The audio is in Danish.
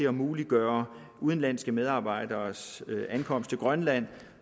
at muliggøre udenlandske medarbejderes ankomst til grønland